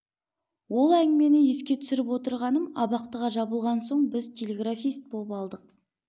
ол әңгімені еске түсіріп отырғаным абақтыға жабылған соң біз телеграфист боп алдық